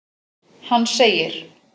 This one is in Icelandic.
Hann segir:.